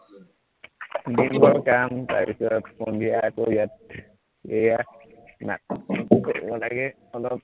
দিন ভৰ কাম তাৰপাছত সন্ধিয়া আকৌ ইয়াত এইয়া নাটকো কৰিব লাগে অলপ